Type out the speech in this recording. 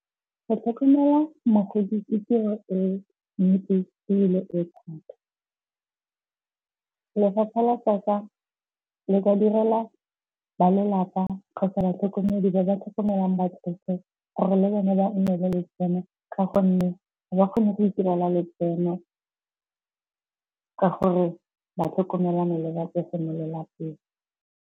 Go tlhokomela mokgweetsi ke tiro e . Lefapha la tsaka le ka direla ba lelapa kgotsa batlhokomedi ba ba tlhokomelang batsofe gore le bone ba nne le letseno ka gonne ga ba kgone go itirela letseno, ka gore ba tlhokomelana le batsofe mo lelapeng.